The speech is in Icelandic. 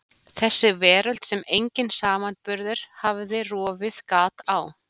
Þessi veröld sem enginn samanburður hafði rofið gat á.